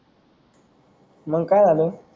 मंग काय झालय